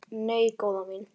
Nei, góða mín.